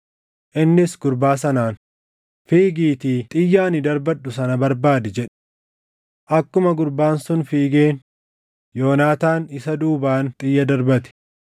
Innis gurbaa sanaan, “Fiigiitii xiyya ani darbadhu sana barbaadi” jedhe. Akkuma gurbaan sun fiigeen Yoonaataan isa duubaan xiyya darbate.